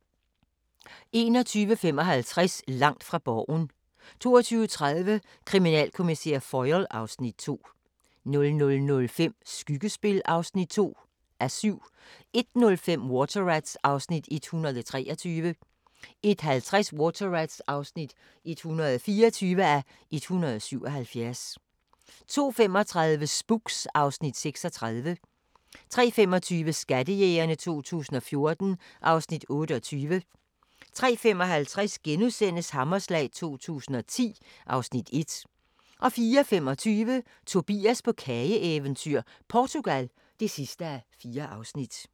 21:55: Langt fra Borgen 22:30: Kriminalkommissær Foyle (Afs. 2) 00:05: Skyggespil (2:7) 01:05: Water Rats (123:177) 01:50: Water Rats (124:177) 02:35: Spooks (Afs. 36) 03:25: Skattejægerne 2014 (Afs. 28) 03:55: Hammerslag 2010 (Afs. 1)* 04:25: Tobias på kageeventyr - Portugal (4:4)